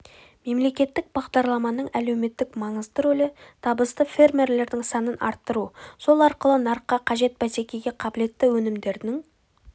мемлекеттік бағдарламаның әлеуметтік маңызды рөлі табысты фермерлердің санын арттыру сол арқылы нарыққа қажет бәсекеге қабілетті өнімдерінің